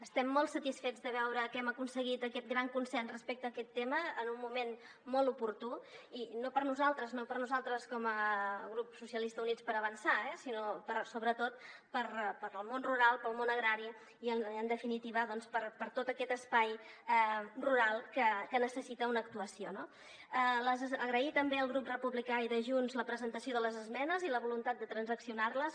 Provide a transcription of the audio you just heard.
estem molt sa·tisfets de veure que hem aconseguit aquest gran consens respecte a aquest tema en un moment molt oportú i no per nosaltres no per nosaltres com a grup socialistes i units per avançar sinó sobretot pel món rural pel món agrari i en definitiva per tot aquest espai rural que necessita una actuació no agrair també al grup republicà i de junts la presentació de les esmenes i la volun·tat de transaccionar·les